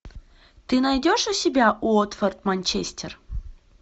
ты найдешь у себя уотфорд манчестер